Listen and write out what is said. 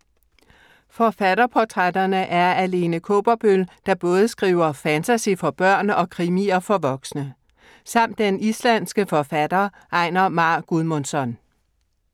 Forfatterportrætterne er af Lene Kaaberbøl, der både skriver fantasy for børn og krimier for voksne. Samt den islandske forfatter Einar Már Guðmundsson.